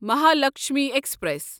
Mahalakshmi express